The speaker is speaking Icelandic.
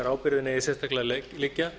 ábyrgðin eigi sérstaklega að liggja